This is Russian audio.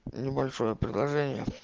небольшое предложение